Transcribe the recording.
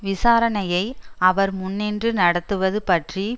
விசாரணையை அவர் முன்னின்று நடத்துவது பற்றி